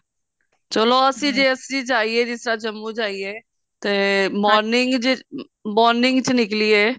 ਚਲੋ ਅਸੀਂ ਜੇ ਅਸੀਂ ਜਾਈਏ ਜਿਸ ਤਰ੍ਹਾਂ ਜੰਮੂ ਜਾਈਏ ਤੇ morning ਜੇ morning ਚ ਨਿਕਲੀਏ